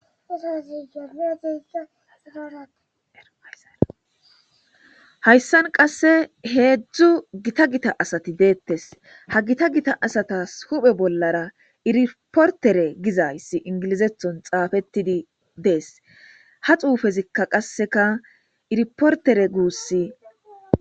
hayssan qasse heedzdzu gita gita asati deettes ha gita gita asatas huphe bollara iriportere gizayssi ingilizethon xaafettidi dees ha xuufezikka qasseka iriportere guussi